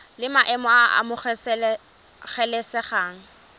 la maemo a a amogelesegang